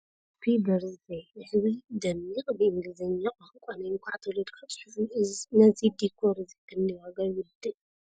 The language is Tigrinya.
ሃፒ በርዝደይ ዝብል ደሚቅ ብ እንግሊዘኛ ቃንቃ ናይ እንካዕ ተወልድካ ፅሑፍ እዩ ። ነዚ ዲኮር እዚ ክንደይ ዋጋ ይውድእ ?